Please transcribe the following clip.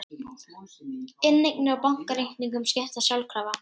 Inneignir á bankareikningum skiptast sjálfkrafa